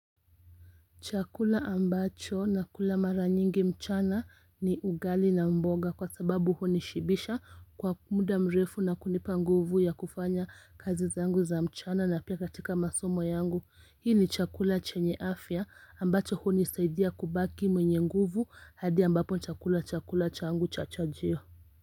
Chakula ambacho na kula mara nyingi mchana ni ugali na mboga kwa sababu hunishibisha kwa muda mrefu na kunipa nguvu ya kufanya kazi zangu za mchana na pia katika masomo yangu. Hii ni chakula chenye afya ambacho hunisaidia kubaki mwenye nguvu hadi ambapo chakula chakula changu cha chajio.